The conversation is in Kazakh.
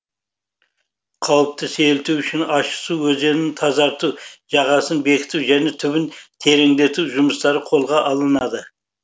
қауіпті сейілту үшін ащысу өзенін тазарту жағасын бекіту және түбін тереңдету жұмыстары қолға алынады